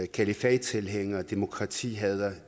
kalifattilhængere og demokratihadere